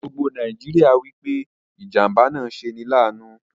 Gbogbo Nàìjíríà wípé ìjàmbá náà ṣe 'ní láànu